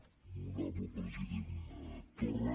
molt honorable president torra